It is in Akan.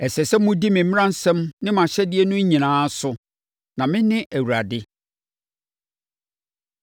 “ ‘Ɛsɛ sɛ modi me mmaransɛm ne mʼahyɛdeɛ no nyinaa so, na mene Awurade.’ ”